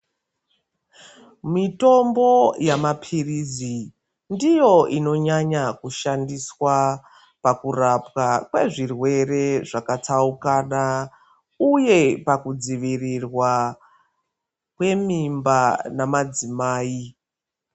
Mitombo yamapirizi ndiyo inonyanya kushandiswa pakurapwa kwezvirwere zvakatsaukana uye pakudzivirirwa kwemimba namadzimai.